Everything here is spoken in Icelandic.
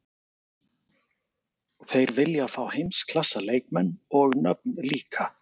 Þeir vilja fá heimsklassa leikmenn og nöfn líka.